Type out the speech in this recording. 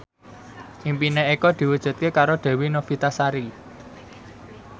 impine Eko diwujudke karo Dewi Novitasari